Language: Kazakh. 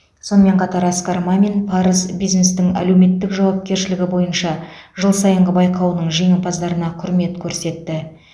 сонымен қатар асқар мамин парыз бизнестің әлеуметтік жауапкершілігі бойынша жыл сайынғы байқауының жеңімпаздарына құрмет көрсетті